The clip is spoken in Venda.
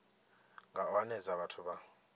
nga u hanedza vhathu vha